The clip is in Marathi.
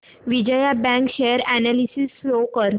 Vijaya bank share analysis show कर